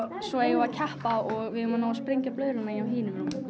svo eigum að keppa og við eigum að ná að sprengja blöðruna hjá hinum